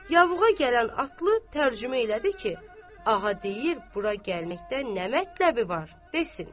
Yavruğa gələn atlı tərcümə elədi ki, ağa deyir bura gəlməkdən nə mətləbi var desin.